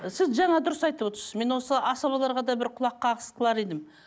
ы сіз жаңа дұрыс айтып отырсыз мен осы асабаларға да бір құлаққағыс қылар едім